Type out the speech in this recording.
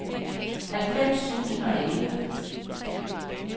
halvfems tusind og elleve